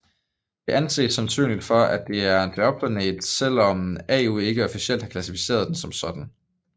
Det anses sandsynligt at det er en dværgplanet selvom IAU ikke officielt har klassificeret den som sådan